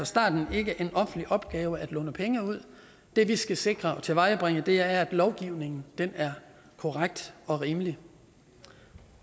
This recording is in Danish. starten ikke en offentlig opgave at låne penge ud det vi skal sikre og tilvejebringe er at lovgivningen er korrekt og rimelig